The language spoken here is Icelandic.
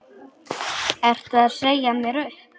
Ertu að segja mér upp?